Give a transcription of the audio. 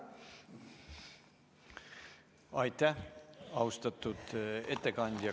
Aitäh, austatud ettekandja!